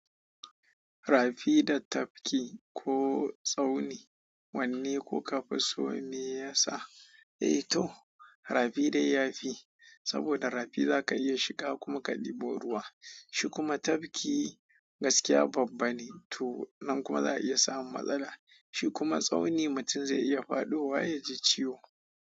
Rafi da tafki ko tsauni wanne kuka fi so me yasa? Eh to rafi dai ya fi, saboda rafi za ka iya shiga kuma ka ɗebo ruwa. Shi kuma tafki gaskiya babba ne to nan kuma za a iya samun matsala. Shi kuma tsauni mutum zai iya faɗowa ya ji ciwo.